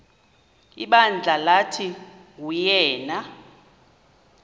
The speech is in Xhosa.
ibandla lathi nguyena